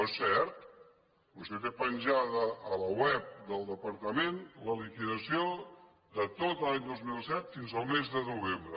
no és cert vostè té penjada a la web del departament la liquidació de tot l’any dos mil set fins al mes de novembre